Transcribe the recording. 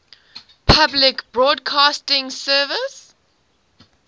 public broadcasting service